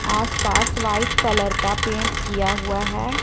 आसपास white colour का paint किया हुआ है।